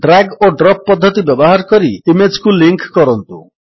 drag ଓ drop ପଦ୍ଧତି ବ୍ୟବହାର କରି ଇମେଜ୍ କୁ ଲିଙ୍କ୍ କରନ୍ତୁ